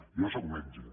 jo sóc metge